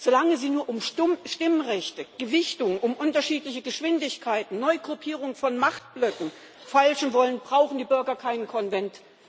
Solange Sie nur um Stimmrechte, Gewichtung, um unterschiedliche Geschwindigkeiten, Neugruppierung von Machtblöcken feilschen wollen, brauchen die Bürger keinen Konvent.